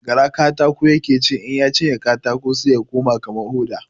Gara katako ya ke ci, in ya cinye katako sai ya koma kaman hoda.